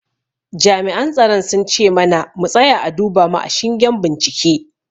Jami'an tsaron sun ce mana mu tsaya a duba mu a shingen bincike.